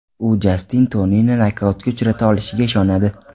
U Jastin Tonini nokautga uchrata olishiga ishonadi.